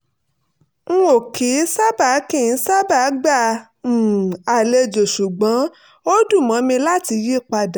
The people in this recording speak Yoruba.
n ò kì í sábà kì í sábà gba um àlejò ṣùgbọ́n ó dùn mọ́ mi láti yí padà